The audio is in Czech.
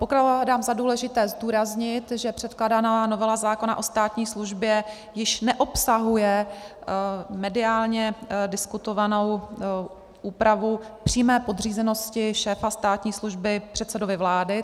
Pokládám za důležité zdůraznit, že předkládaná novela zákona o státní službě již neobsahuje mediálně diskutovanou úpravu přímé podřízenosti šéfa státní služby předsedovi vlády.